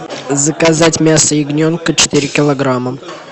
заказать мясо ягненка четыре килограмма